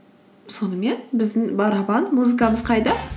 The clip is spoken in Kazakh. сонымен біздің барабан музыкамыз қайда